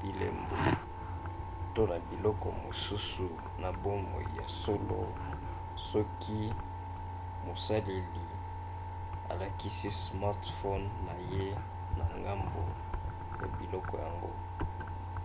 bilembo to na biloko mosusu na bomoi ya solo soki mosaleli alakisi smartphone na ye na ngambo ya biloko yango